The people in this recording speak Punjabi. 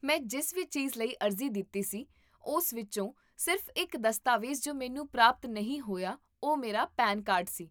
ਮੈਂ ਜਿਸ ਵੀ ਚੀਜ਼ ਲਈ ਅਰਜ਼ੀ ਦਿੱਤੀ ਸੀ, ਉਸ ਵਿੱਚੋਂ ਸਿਰਫ਼ ਇੱਕ ਦਸਤਾਵੇਜ਼ ਜੋ ਮੈਨੂੰ ਪ੍ਰਾਪਤ ਨਹੀਂ ਹੋਇਆ ਉਹ ਮੇਰਾ ਪੈਨ ਕਾਰਡ ਸੀ